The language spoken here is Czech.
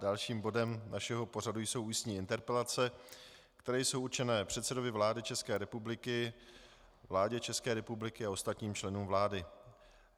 Dalším bodem našeho pořadu jsou ústní interpelace, které jsou určené předsedovi vlády České republiky, vládě České republiky a ostatním členům vlády.